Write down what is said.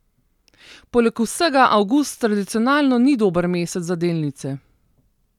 Poleg vsega avgust tradicionalno ni dober mesec za delnice.